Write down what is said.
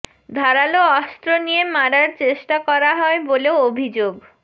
ধারালো অস্ত্র নিয়ে মারার চেষ্টা করা হয় বলেও অভিযোগ